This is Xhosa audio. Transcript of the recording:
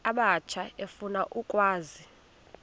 abatsha efuna ukwazi